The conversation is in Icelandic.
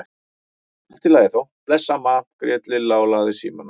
Allt í lagi þá, bless amma grét Lilla og lagði símann á.